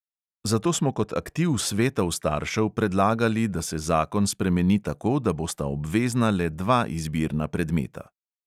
Zato smo kot aktiv svetov staršev predlagali, da se zakon spremeni tako, da bosta obvezna le dva izbirna predmeta.